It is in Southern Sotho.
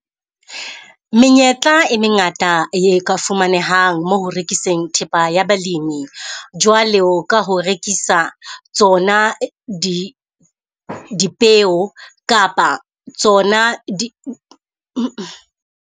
Menyetla e mengata e ka fumanehang mo ho rekiseng thepa ya balemi. Jwalo ka ho rekisa tsona di dipeo kapa tsona di .